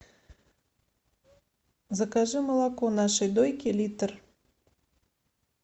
закажи молоко нашей дойки литр